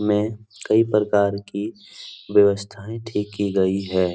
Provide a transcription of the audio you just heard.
में कई प्रकार की व्यवस्थाएं ठीक की गई है।